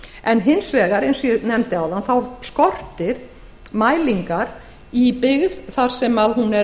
en hins vegar eins og ég nefndi áðan skortir mælingar í byggð þar sem hún er